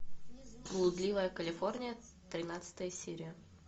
блудливая калифорния тринадцатая серия